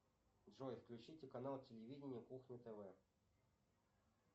джой включите канал телевидения кухня тв